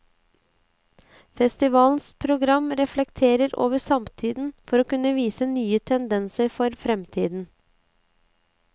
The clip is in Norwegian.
Festivalens program reflekterer over samtiden, for å kunne vise nye tendenser for fremtiden.